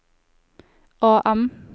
AM